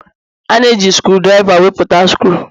A na-eji skrudriva wepụta skru